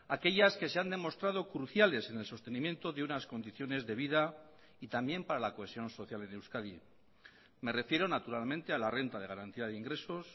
aquellas que se han demostrado cruciales en el sostenimiento de unas condiciones de vida y también para la cohesión social en euskadi me refiero naturalmente a la renta de garantía de ingresos